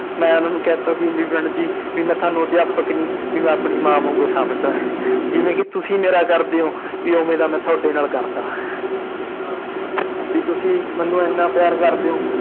ਮੈਂ ਉਹਨਾਂ ਨੂੰ ਕਹਿ ਦਿੱਤਾ ਸੀ ਵੀ madam ਜੀ ਵੀ ਮੈਂ ਤੁਹਾਨੂੰ ਅਧਿਆਪਕ ਨੀ ਵੀ ਮੈਂ ਆਪਣੀ ਮਾਂ ਵਾਂਗੂ ਸਮਝਦਾ ਹੈ ਜਿਵੇਂ ਕਿ ਤੁਸੀਂ ਮੇਰਾ ਕਰਦੇ ਹੋ ਵੀ ਉਵੇਂ ਦਾ ਮੈਂ ਤੁਹਾਡੇ ਨਾਲ ਕਰਦਾ ਵੀ ਤੁਸੀਂ ਮੈਨੂੰ ਇੰਨਾ ਪਿਆਰ ਕਰਦੇ ਹੋ